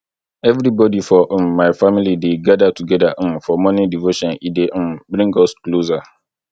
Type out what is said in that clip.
everybodi for um my family dey gather togeda um for morning devotion e dey um bring us closer